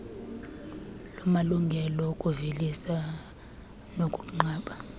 lamalungelo okuvelisa nokuqamba